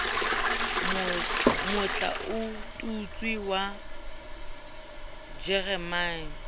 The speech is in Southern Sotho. motla o tutswe wa jeremane